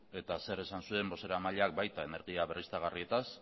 eta zer esan zuen bozeramaileak baita energia berriztagarrietaz